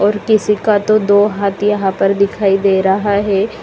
और किसी का तो दो हाथ यहां पर दिखाई दे रहा है।